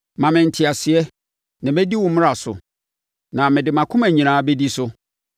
Ma me nteaseɛ, na mɛdi wo mmara so, na mede mʼakoma nyinaa bɛdi so.